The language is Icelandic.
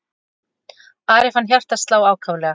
Ari fann hjartað slá ákaflega.